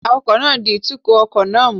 Awakọ̀ náà ń di ìtukọ̀ ọkọ̀ náà mú